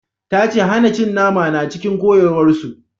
Ta ce hana cin nama na cikin koyarwar su